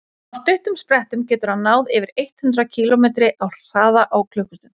á stuttum sprettum getur hann náð yfir eitt hundruð kílómetri hraða á klukkustund